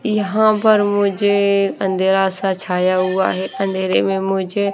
यहां पर मुझे अंधेरा सा छाया हुआ है अंधेरे में मुझे--